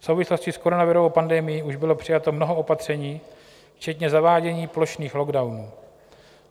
V souvislosti s koronavirovou pandemií už bylo přijato mnoho opatření včetně zavádění plošných lockdownů.